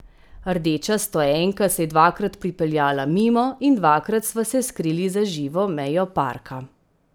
Rdeča stoenka se je dvakrat pripeljala mimo in dvakrat sva se skrili za živo mejo parka.